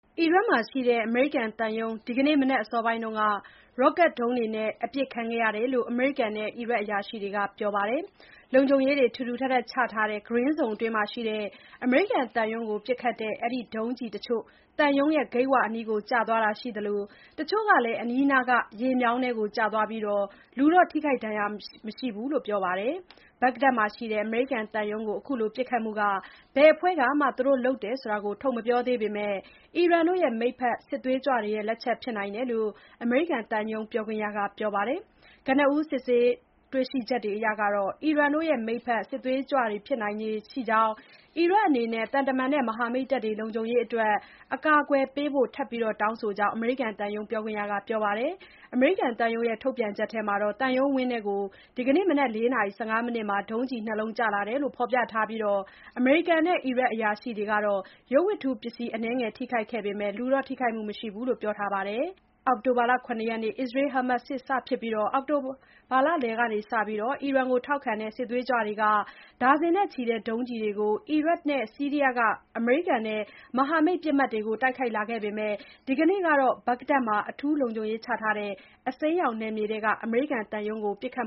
အီရတ်မှာရှိတဲ့ အမေရိကန်သံရုံး ဒီကနေ့ မနက်အစောပိုင်းက Rocket ဒုံးတွေနဲ့ အပစ်ခံခဲ့ရတယ်လို့ အမေရိကန်နဲ့ အီရတ်အရာရှိတွေက ပြောပါတယ်။ လုံခြုံရေးတွေ ထူထပ်စွာချထားတဲ့ Green Zone အတွင်းမှာရှိတဲ့ အမေရိကန်သံရုံးကို ပစ်ခတ်တဲ့ ဒီ ဒုံးကျည်တွေတချို့ သံရုံးဂိတ်ဝအနီးကို ကျသွားတာရှိသလို၊ တချို့လည်း အနီးနားက ရေမြောင်းထဲကို ကျသွားပြီး လူတွေ ထိခိုက် ဒဏ်ရာရတာမရှိဘူးလို့ ဆိုပါတယ်။ ဘဂ္ဂဒက်မြို့မှာရှိတဲ့ အမေရိကန်သံရုံးကို အခုလို ပစ်ခတ်မှုအပေါ် ဘယ်အဖွဲ့ကမှ သူတို့လုပ်တယ်ဆိုတာ ထုတ်မပြောသေးပေမဲ့ အီရန် မိတ်ဖက် စစ်သွေးကြွတွေလက်ချက်ဖြစ်နိုင်တယ်လို့ အမေရိကန် သံရုံးပြောခွင့်ရက ပြောပါတယ်။ ကနဦး စုံစမ်း သိရှိချက်တွေအရ အီရန်မိတ်ဖက် စစ်သွေးကြွတွေလက်ချက် ဖြစ်နိုင်ကြောင်း၊ အီရတ်အနေနဲ့ သံတမန်နဲ့ မဟာမိတ်တပ်တွေ လုံခြုံရေးအတွက် အကာအကွယ်ပေးဖို့ ထပ်တောင်းဆိုကြောင်း အမေရိကန်သံရုံး ပြောခွင့်ရက ပြောပါတယ်။ အမေရိကန် သံရုံးထုတ်ပြန်ချက်ထဲမှာလည်း သံရုံးဝန်းကို ဒီနက် ၄ နာရီ ၁၅ မီးနစ်မှာ ဒုံးကျည် ၂ လုံး ကျလာခဲ့တယ်လို့ ဖော်ပြထားပြီး၊ အမေရိကန်နဲ့ အီရတ်အရာရှိတွေကလည်း ရုပ်ဝတ္တုပစ္စည်း အနည်းငယ် ထိခိုက်ခဲ့ပေမဲ့၊ လူ ထိခိုက်မှုတော့ မရှိခဲ့ဘူးလို့ ပြောထားပါတယ်။ အောက်တိုဘာ ၇ ရက်မှာ အစ္စရေး-ဟာမတ်စ် စစ်စဖြစ်ပြီး၊ အောက်တိုဘာလလယ်ကစလို့ အီရန်ထောက်ခံတဲ့ စစ်သွေးကြွအဖွဲ့တွေက ဒါဇင်တွေနဲ့ ချီတဲ့ ဒုံးကျည်တွေကို အီရတ်နဲ့ ဆီရီးယားက အမေရိကန်နဲ့ မဟာမိတ် ပစ်မှတ်တွေကို တိုက်ခိုက်လာခဲ့ပေမဲ့၊ ဒီနေ့ကတော့ ဘဂ္ဂဒက်မှာ အထူးလုံခြုံရေးချထားတဲ့ အစိမ်းရောင်နယ်မြေထဲက အမေရိကန် သံရုံးကို ပစ်ခတ်